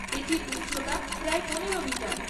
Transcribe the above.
এটির উচ্চতা প্রায় পনেরো মিটার।